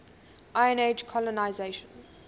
iron age colonisation